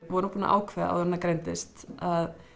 vorum búin að ákveða áður en hann greindist að